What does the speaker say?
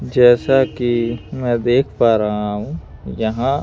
जैसा कि मैं देख पा रहा हूँ यहाँ--